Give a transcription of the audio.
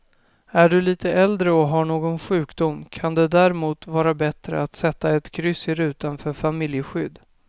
Är du lite äldre och har någon sjukdom kan det därmot vara bättre att sätta ett kryss i rutan för familjeskydd.